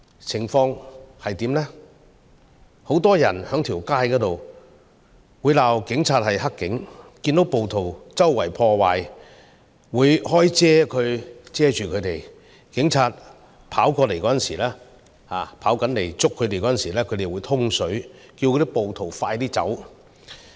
街上很多人會罵警察是"黑警"，看到暴徒到處破壞，會打開傘子來遮蓋他們，警察跑過來抓人時，他們會叫暴徒快點走。